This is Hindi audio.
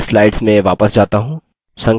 मैं slides में वापस जाता हूँ